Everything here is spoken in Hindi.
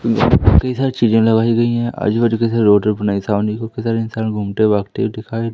कई सारी चीजें लगाई गई हैं आजू बाजू कई सारे रोड इंसान घूमते भागते हुए दिखाई--